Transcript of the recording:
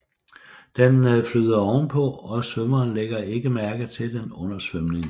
Den flyder ovenpå og svømmeren ligger ikke mærke til den under svømningen